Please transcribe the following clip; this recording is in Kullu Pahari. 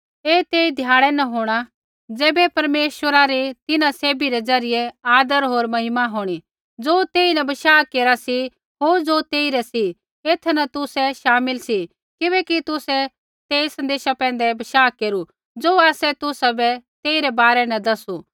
ऐ तेई ध्याड़ै न होंणा ज़ैबै परमेश्वरा री तिन्हां सैभी रै ज़रियै आदर होर महिमा होंणी ज़ो तेइन बशाह केरा सी होर ज़ो तेइरै सी एथा न तुसै शामिल सी किबैकि तुसै तेई सन्देशा पैंधै बशाह केरू ज़ो आसै तुसाबै तेइरै बारै न दसू